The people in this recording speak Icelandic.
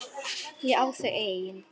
Ég á þau ein.